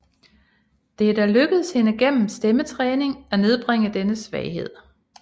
Det er dog lykkedes henne gennem stemmetræning at nedbringe denne svaghed